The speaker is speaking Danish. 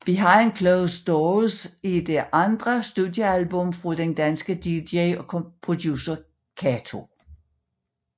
Behind Closed Doors er det andet studiealbum fra den danske dj og producer Kato